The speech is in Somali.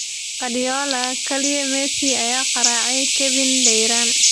Guardiola: "Kaliya Messi ayaa garaacay Kevin de Bryne"